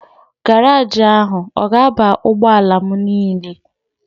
Garaaji ahụ ọ ga-aba ụgbọala m niile?